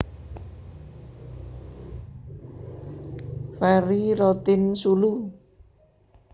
Ferry Rotinsulu